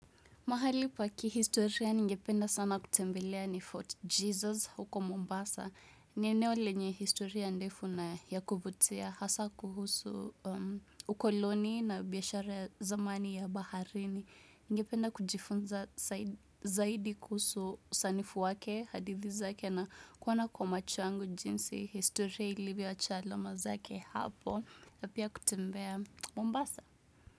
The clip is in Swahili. Mahali pa kihistoria ningependa sana kutembelea ni Fort Jesus huko Mombasa. Ni eneo lenye historia ndefu na ya kuvutia hasaa kuhusu ukoloni na biashara zamani ya baharini. Ningependa kujifunza zaidi kuhusu sanifu wake hadithi zake na kuona kwa macho yangu jinsi historia ilivyoacha alama zake hapo. Na pia kutembea Mombasa.